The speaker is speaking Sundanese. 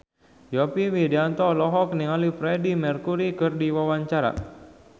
Yovie Widianto olohok ningali Freedie Mercury keur diwawancara